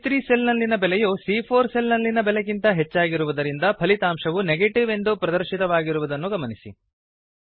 ಸಿಎ3 cell ನಲ್ಲಿನ ಬೆಲೆಯು ಸಿಎ4 ಸೆಲ್ ನಲ್ಲಿನ ಬೆಲೆಗಿಂತ ಹೆಚ್ಚಾಗಿರುವುದರಿಂದ ಫಲಿತಾಂಶವು ನೆಗೇಟಿವ್ ಎಂದು ಪ್ರದರ್ಶಿತವಾಗುವುದನ್ನು ಗಮನಿಸಿ